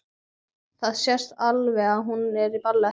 Það sést alveg að hún er í ballett.